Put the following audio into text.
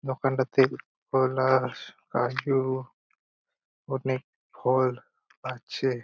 দোকানটাতে পলাশ কাজু অনেক ফল আছে।